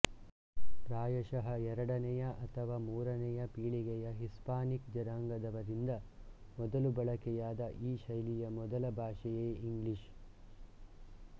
ಪ್ರಾಯಶಃ ಎರಡನೆಯ ಅಥವಾ ಮೂರನೆಯ ಪೀಳಿಗೆಯ ಹಿಸ್ಪಾನಿಕ್ ಜನಾಂಗದವರಿಂದ ಮೊದಲು ಬಳಕೆಯಾದ ಈ ಶೈಲಿಯ ಮೊದಲ ಭಾಷೆಯೇ ಇಂಗ್ಲಿಷ್